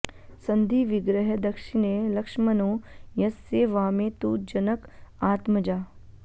सन्धि विग्रह दक्षिणे लक्ष्मणो यस्य वामे तु जनक आत्मजा